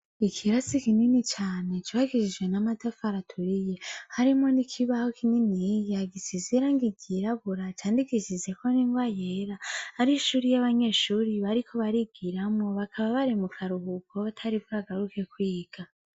Ikirasi kinini cane cubakishijwe n'amatafari aturiye, harimwo n'ikibaho kinini gisize irangi ryirabura, candikishijeko n'ingwa yera. Hari ishure ry'abanyeshure bariko barigiramwo, bakaba bari mu karuhuko batari bwagaruke kwiga.